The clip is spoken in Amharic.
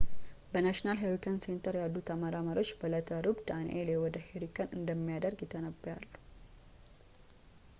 በnational hurricane center ያሉት ተመራማሪዎች በእለተ ረቡዕ danielle ወደ hurricane እንደሚያድግ ይተነብያሉ